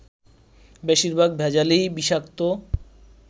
বেশিরভাগ ভেজালই বিষাক্ত